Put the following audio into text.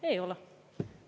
Ei ole.